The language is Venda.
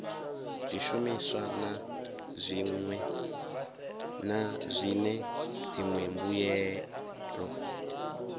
zwishumiswa na zwine dziṅwe mbuelo